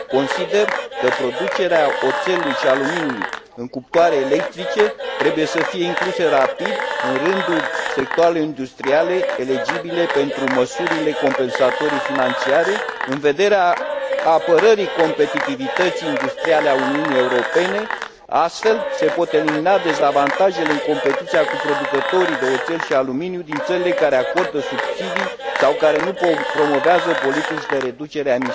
Consider că producerea oțelului și aluminiului în cuptoare electrice trebuie să fie inclusă rapid în rândul sectoarelor industriale eligibile pentru măsurile compensatorii financiare, în vederea apărării competitivității industriale a Uniunii Europene. Astfel, se pot elimina dezavantajele în competiția cu producătorii de oțel și aluminiu din țările care acordă subsidii sau care nu promovează politici de reducere a